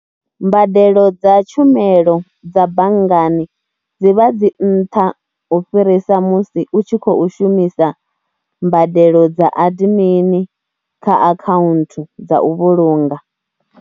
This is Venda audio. Mbadelo dza tshumelo dza banngani dzi vha dzi nṱha u fhirisa musi u tshi khou shumisa mbadelo dza admin kha akhaunthu dza u vhulunga.